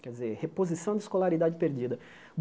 Quer dizer, reposição de escolaridade perdida.